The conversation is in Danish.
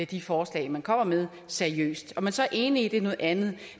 de forslag man kommer med seriøst om man så er enig i det er noget andet